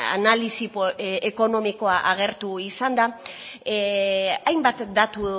analisi ekonomia agertu izan da hainbat datu